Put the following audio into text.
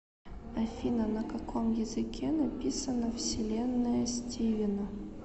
афина на каком языке написано вселенная стивена